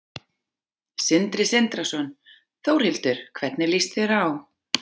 Sindri Sindrason: Þórhildur, hvernig lýst þér á?